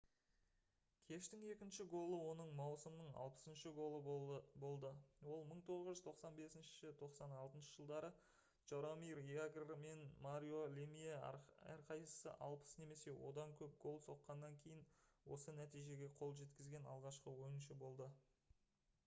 кештің екінші голы оның маусымның 60-шы голы болды ол 1995-96 жылдары жаромир ягр мен марио лемие әрқайсысы 60 немесе одан көп гол соққаннан кейін осы нәтижеге қол жеткізген алғашқы ойыншы болды